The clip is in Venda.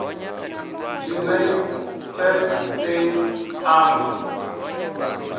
united states armed